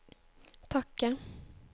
takke